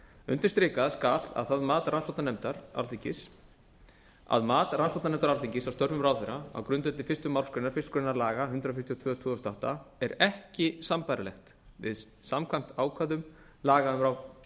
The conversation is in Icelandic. undirstrikað skal að mat rannsóknarnefndar alþingis á störfum ráðherra á grundvelli fyrstu málsgrein einni grein laga númer hundrað fjörutíu og tvö tvö þúsund og átta er ekki sambærilegt við samkvæmt ákvæðum laga um